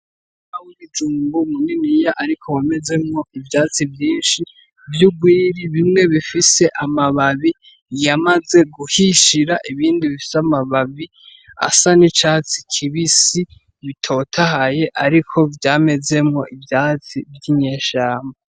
Umurima w'ibijumbu munini ariko wamezemwo ivyatsi vyinshi vy'urwiri bimwe bifis'amababi yamaze guhishira ibindi bifis'amababi asa n'icatsi kibisi bitotahaye ariko vyamezemwo ivyatsi vyoi mwishamba.